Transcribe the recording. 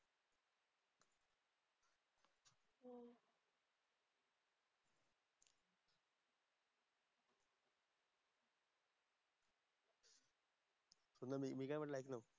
अगं मी मी काय म्हंटलं ऐक तर.